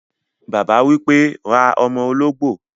Bàbá wípé, "ra ọ́mọ́ olóngbò